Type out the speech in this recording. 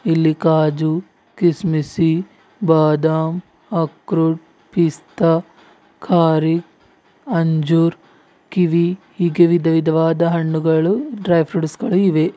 ಇಲ್ಲಿ ಕಾಜು ಕಿಸಮಿಸ್ಸಿ ಬಾದಾಮ್ ಆಕ್ರೋಟ್ ಪಿಸ್ತಾ ಕಾರಿಕ್ ಅಂಜುರ್ ಕಿವಿ ಹೀಗೆ ವಿದ ವಿದವಾದ ಹಣ್ಣುಗಳು ಡ್ರೈ ಫ್ರೂಟ್ಸ್ ಗಳು ಇವೆ.